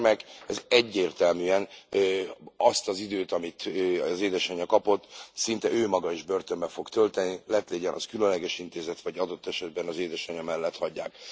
Ez a gyermek, ez egyértelműen azt az időt, amit az édesanya kapott, szinte ő maga is börtönben fogja tölteni, lett légyen az különleges intézet, vagy adott esetben az édesanya mellett hagyják.